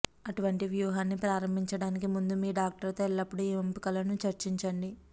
అటువంటి వ్యూహాన్ని ప్రారంభించడానికి ముందు మీ డాక్టర్తో ఎల్లప్పుడూ ఈ ఎంపికలను చర్చించండి